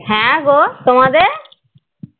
হ্যাঁ গো তোমাদের?